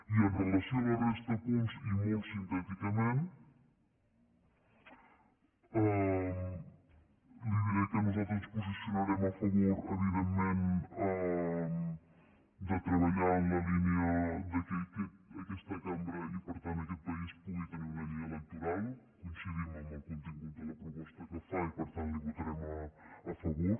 i amb relació a la resta de punts i molt sintèticament li diré que nosaltres ens posicionarem a favor evidentment de treballar en la línia que aquesta cambra i per tant aquest país pugui tenir una llei electoral coincidim amb el contingut de la proposta que fa i per tant hi votarem a favor